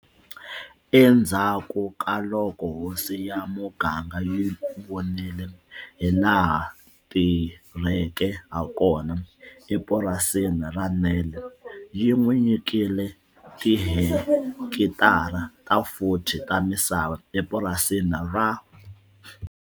Endzhaku ka loko hosi ya muganga yi vonile hilaha a tirheke hakona epurasini ra Nel, yi n'wi nyikile tihekitara ta 40 ta misava epurasini ra.